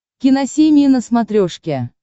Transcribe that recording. киносемья на смотрешке